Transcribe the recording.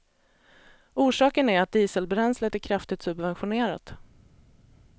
Orsaken är att dieselbränslet är kraftigt subventionerat.